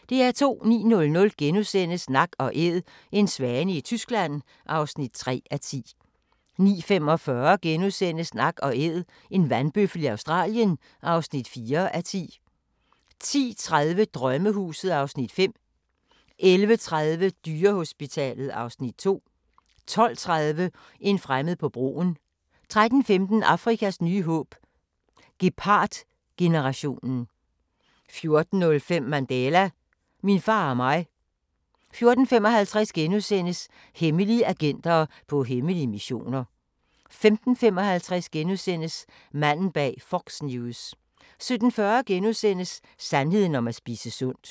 09:00: Nak & Æd – en svane i Tyskland (3:10)* 09:45: Nak & Æd – en vandbøffel i Australien (4:10)* 10:30: Drømmehuset (Afs. 5) 11:30: Dyrehospitalet (Afs. 2) 12:30: En fremmed på broen 13:15: Afrikas nye håb – gepardgenerationen 14:05: Mandela – min far og mig 14:55: Hemmelige agenter på hemmelige missioner * 15:55: Manden bag Fox News * 17:40: Sandheden om at spise sundt *